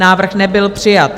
Návrh nebyl přijat.